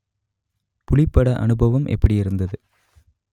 புலிப் பட அனுபவம் எப்படியிருந்தது